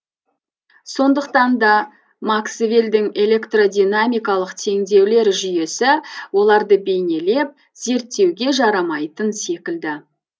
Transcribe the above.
сондықтан да максвелдің электродинамикалық теңдеулер жүйесі оларды бейнелеп зерттеуге жарамайтын секілді